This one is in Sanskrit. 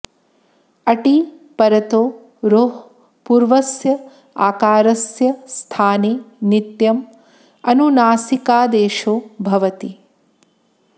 अटि परतो रोः पूर्वस्य आकारस्य स्थाने नित्यम् अनुनासिकादेशो भवति